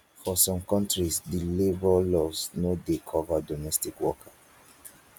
for some countries di labour laws no dey cover domestic worker